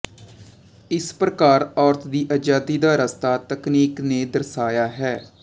ਇਸ ਪ੍ਰਕਾਰ ਔਰਤ ਦੀ ਆਜ਼ਾਦੀ ਦਾ ਰਸਤਾ ਤਕਨੀਕ ਨੇ ਦਰਸਾਇਆ ਹੈ